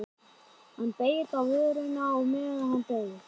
Hann beit á vörina á meðan hann beið.